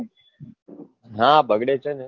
હા બગડે છે ને